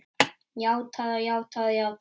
Játað og játað og játað.